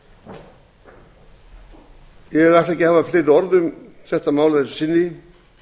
undan ég ætla ekki að hafa fleiri orð um þetta mál að þessu sinni